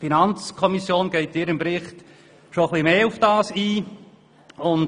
Die FiKo geht in ihrem Bericht schon ein wenig mehr auf diesen Sachverhalt ein.